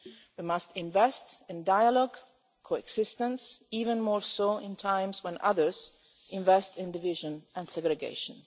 We must invest in dialogue and coexistence, even more so in times when others invest in division and segregation.